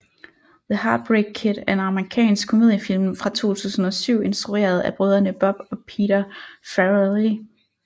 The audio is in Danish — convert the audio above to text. The Heartbreak Kid er en amerikansk komediefilm fra 2007 instrueret af brødrene Bob og Peter Farrelly